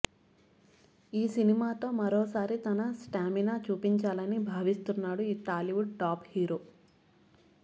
ఈ సినిమాతో మరోసారి తన స్టామినా చూపించాలని భావిస్తున్నాడు ఈ టాలీవుడ్ టాప్ హీరో